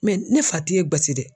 ne fa ti e gasi dɛ.